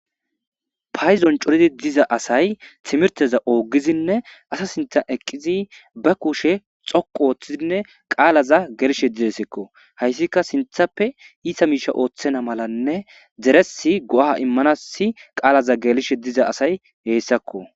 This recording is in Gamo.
payzon coridi diza asay timirteza oogidine asa sintha eqqizi ba kushe xoqu ooththizinne qaalaza gershe didesekko hayssika sinthappe iita miisha ooththena malanne deresi go7ha immanasi qaalaza geelishe diza asay heessakko